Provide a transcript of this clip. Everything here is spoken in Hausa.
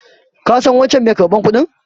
Ka san wancan mai karɓar kudin?